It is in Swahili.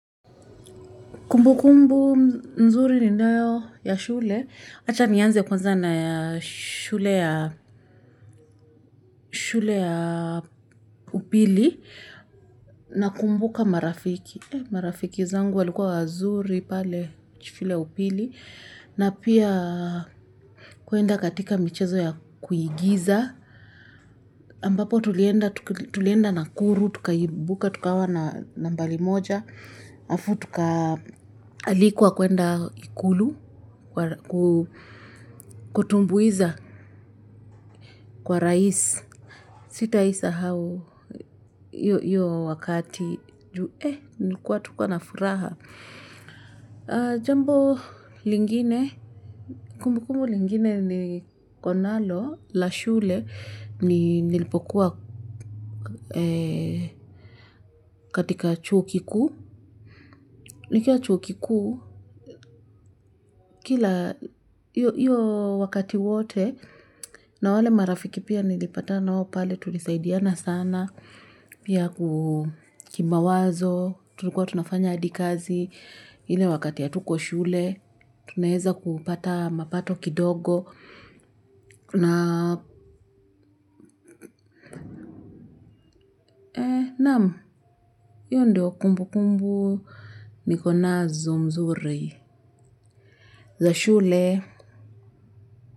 Kumbu kumbu mzuri ni nayo ya shule. Acha mianze kuanza na ya shule ya upili na kumbuka marafiki. Marafiki zangu walikua wazuri pale chfile upili na pia kuenda katika michezo ya kuyigiza. Ampapo tulienda nakuru, tuka ibuka, tukawa na mbali moja. Afutuka alikwa kuenda ikulu ku kutumbuiza kwa rais. Sitaisa hao iyo wakati juwe nikuwa tukuwa na furaha. Jambo lingine, kumbu kumbu lingine ni konalo la shule nilipokuwa katika chuo kiku. Nikiwa chuo kiku kila iyo wakati wote na wale marafiki pia nilipata na wopale tulisaidiana sana. Pia kukimawazo, tulikuwa tunafanya adikazi. Hile wakati ya tuko shule, tunaheza kupata mapato kidogo. Na nam, iyo ndio kumbu kumbu. Nikonazo mzuri za shule.